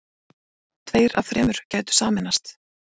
Tveir af þremur gætu sameinast